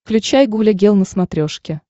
включай гуля гел на смотрешке